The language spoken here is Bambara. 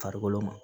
Farikolo ma